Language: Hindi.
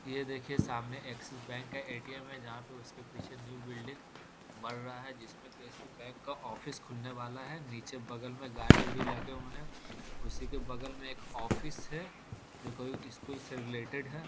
यह देखिए सामने एक्सिस बैंक का ए.टी.एम. है जहाँ पे उसके पीछे न्यू बिल्डिंग बन रहा है जिसमें की इसी बैंक का ऑफिस खुलने वाला है नीचे बगल में गाड़ी-उड़ी लगे हुए हैं उसी के बगल में एक ऑफिस है जो कोई स्कूल से रिलेटेड है।